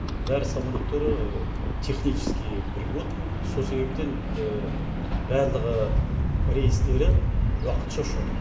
бәрі самолеттері технически пригодны сол себептен барлығы рейстері уақытша ұшады